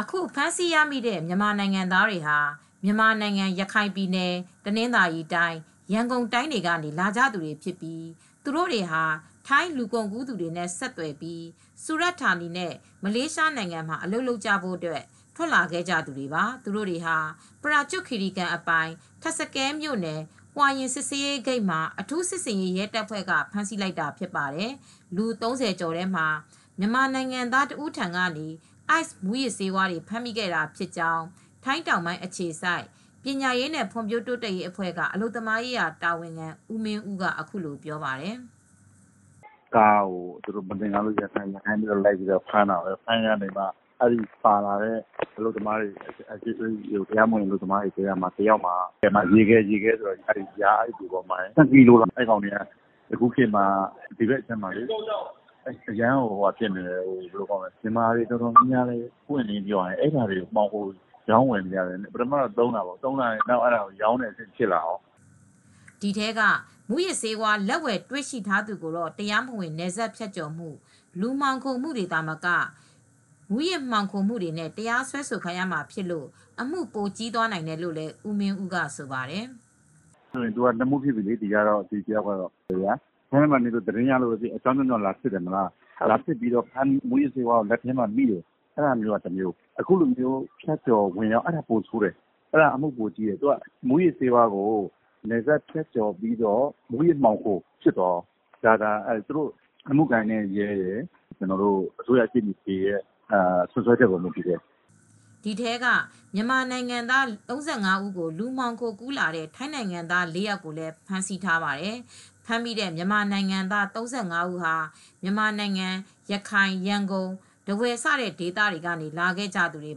အခုဖမ်းဆီးရမိတဲ့ မြန်မာနိုင်ငံသားတွေဟာ မြန်မာနိုင်ငံ ရခိုင် ပြည်နယ်၊ တနသာၤရီတိုင်း၊ ရန်ကုန်တိုင်းတွေကနေ လာကြသူတွေဖြစ်ပြီး သူတို့တွေဟာ ထိုင်း လူကုန်ကူးသူတွေနဲ့ ဆက်သွယ်ပြီး စူရဌာနီနဲ့ မလေးရှားနိုင်ငံမှာ အလုပ်လုပ်ကြဖို့ ထွက်လာခဲ့ကြတဲ့သူတွေပါ။ သူတို့တွေကိုတော့ ပရာကျွတ်ခီရီကန် အပိုင် ထပ်စကဲမြို့နယ် Huai Yang စစ်ဆေးရေးဂိတ်မှာ အထုူး စစ်ဆေးရေး ရဲတပ်ဖွဲ့က ဖမ်းဆီးလိုက်တာ ဖြစ်ပါတယ်။ လူ ၃၀ ကျော်ထဲမှာ မြန်မာနိုင်ငံသား တဦးထံကနေ Ice မူးယစ်ဆေးတွေပါ ဖမ်းမိခဲ့တာဖြစ်ကြောင်း ထိုင်းတောင်ပိုင်း အခြေစိုက် ပညာရေးနဲ့ ဖွံ့ဖြိုးတိုးတက်ရေး အဖွဲ့က အလုပ်သမားရေး တာဝန်ခံ ဦးမင်းဦးက အခုလိုပြောပြပါတယ်။ “ ကားကို သူတို့က မသင်္ကာလို့လိုက်ဖမ်းတာ။ ဖမ်းရင်းနဲ့ ပါလာတဲ့ အလုပ်သမားတွေထဲက တယောက်မှာ ရေခဲလို့ခေါ်တဲ့ ၂ ကီလိုတောင်ပါတယ်။ အခုခေတ်မှာ ဒီဘက်ခြမ်းမှာ မြန်မာတွေ အတော်များများက မှောင်ခိုရောင်းဝယ်နေတယ်။ ပထမတော့ သုံးရာကနေ ရောင်းဝယ်တာတွေဖြစ်လာတယ်။ ” ဒီထဲက မူးယစ်ဆေးဝါး လက်ဝယ်တွေ့ရှိထားသူကိုတော့ တရားမဝင်နယ်စပ်ဖြတ်ကျော်မှု၊ လူမှောင်ခိုမှုတွေ သာမက မူူးယစ်မှောင်ခိုမှုတွေနဲ့ တရားစွဲဆိုခံရမှာဖြစ်လို့အမှု ပိုကြီးနိုင်တယ်လို့လည်း ဦးမင်းဦးက ဆိုပါတယ်။ “ သူကနှစ်မှု ဖြစ်ပြီလေ။ ဒီတယောက်ကတော့ ထိုင်းထဲမှာနေလို့သတင်းရလို့ လာစစ်ရင်း မူးယစ်ဆေးဝါးကို သုံးရင်းနဲ့ မိတာက တမျိုးလေ။ အခုက အမှုကပိုကြီးတယ်။ မူးယစ်ဆေးဝါးကို နယ်စပ်ဖြတ်ကျော်ပြီး ဝင်လာတယ်ဆိုရင် မူးယစ်မှောင်ခိုမှု ဖြစ်သွားတယ်။ ဒီအမှု ကတော့ အမှုကိုင်တဲ့ ရဲရယ်၊ အစိုးရရှေ့နေတွေရဲ့ စွပ်စွဲချက် အပေါ် မူတည်တယ်။ ” ဒီထဲက မြန်မာနိုင်ငံသား ၃၅ ဦးကို လူမှောင်ခိုကူးလာတဲ့ ထိုင်းနိုင်ငံသား ၄ aယာက်ကိုလည်း ဖမ်းဆီးထားပါတယ်။ ဖမ်းမိ မြန်မာနိုငံသား ၃၅ ဦးဟာ မြန်မာနိုင်ငံ ရခိုင်၊ ရန်ကုန်၊ ထားဝယ်စတဲ့ ဒေသတွေကနေ လာခဲ့ကြတာ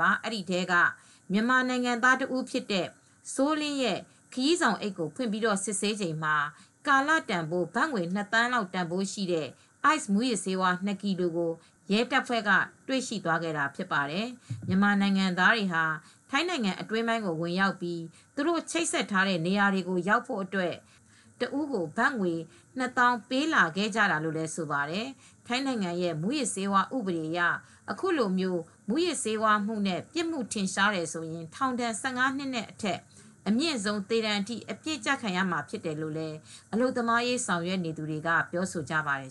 ပါ။ အဲဒီထဲက မြန်မာနိုင်ငံသား တဦးဖြစ်တဲ့ စိုးလင်းရဲ့ ခရီးဆောင်အိတ်ကို ဖွင့်ပြီး စစ်ဆေးစဉ်မှာ ကာလတန်ဖိုး ဘတ်ငွေ နှစ်သန်းလောက် တန်ဖိုးရှိတဲ့ Ice မူးယစ်ဆေး ၂ ကီလို ကို ရဲတပ်ဖွဲ့က တွေ့ရှိသွားခဲ့တာဖြစ်ပါတယ်။ မြန်မာနိုင်ငံသားတွေဟာ ထိုင်းနိုင်အတွင်း ဝင်ရောက်ပြီး သူတို့ချိတ်ဆက်ထားတဲ့ နေရာတွေကို ရောက်ဖို့အတွက် တဦးကို ဘတ်ငွေ ၂၀၀၀၀ ပေးလာခဲ့ကြတာလို့ ဆိုပါတယ်။ ထိုင်းနိုင်ငံရဲ့မူးယစ်ဆေးဝါး ဥပဒေအရ အခုလို မူးယစ်ဆေးဝါးမှုနဲ့ ပြစ်မှု ထင်ရှားတယ်ဆိုရင် ထောင်ဒဏ် ၁၅ နှစ်အထက်နဲ့ အမြင့်ဆုံး သေဒဏ်အထိ အပြစ်ကျခံရမှာဖြစ်တယ်လို့ အလုပ်သမားရေး ဆောင်ရွက်နေသူတွေက ပြောဆိုကြပါတယ်